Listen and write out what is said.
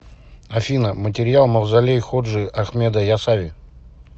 афина материал мавзолей ходжи ахмеда ясави